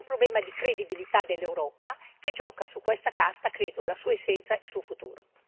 C'è un problema di credibilità dell'Europa, che gioca su questa carta, credo, la sua essenza, il suo futuro.